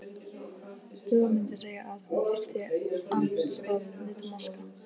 Dúa mundi segja að hún þyrfti andlitsbað, nudd og maska.